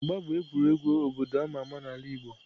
Mgba bụ egwuregwu obodo a ma ama n'ala Igbo.